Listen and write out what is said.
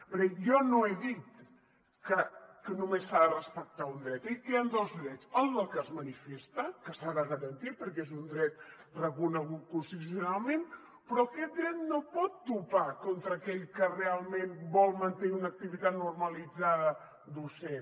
perquè jo no he dit que només s’ha de respectar un dret he dit que hi ha dos drets el del que es manifesta que s’ha de garantir perquè és un dret reconegut constitucionalment però aquest dret no pot topar contra aquell que realment vol mantenir una activitat normalitzada docent